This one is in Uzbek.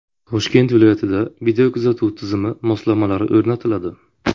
Toshkent viloyatida videokuzatuv tizimi moslamalari o‘rnatiladi.